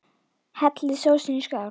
Hellið sósunni í skál.